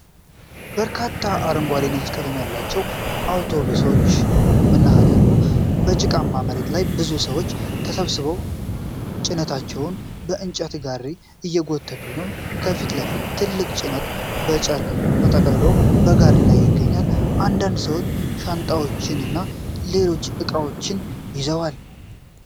የበርካታ አረንጓዴና ነጭ ቀለም ያላቸው አውቶቡሶች መናኸሪያ አሉ። በጭቃማ መሬት ላይ ብዙ ሰዎች ተሰብስበው ጭነታቸውን በእንጨት ጋሪዎች እየጎተቱ ነው። ከፊት ለፊት ትልቅ ጭነት በጨርቅ ተጠቅልሎ በጋሪ ላይ ይገኛል። አንዳንድ ሰዎች ሻንጣዎችን እና ሌሎች እቃዎችን ይዘዋል።